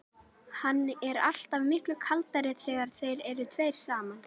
Hann er alltaf miklu kaldari þegar þeir eru tveir saman.